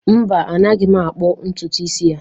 Mba, anaghị m akpu ntutu isi ya.